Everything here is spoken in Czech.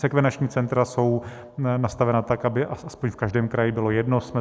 Sekvenační centra jsou nastavena tak, aby aspoň v každém kraji bylo jedno.